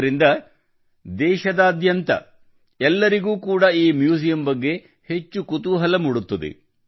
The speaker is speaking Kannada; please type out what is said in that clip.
ಇದರಿಂದ ರಾಷ್ಟ್ರದಾದ್ಯಂತ ಎಲ್ಲರಿಗೂ ಕೂಡ ಈ ಮ್ಯೂಸಿಯಂ ಬಗ್ಗೆ ಹೆಚ್ಚು ಕುತೂಹಲ ಮೂಡುತ್ತದೆ